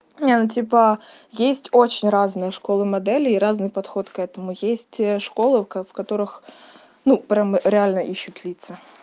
и она типа есть очень разные школы моделей и разный подход к этому есть школы в которых ну прям реально ищут лица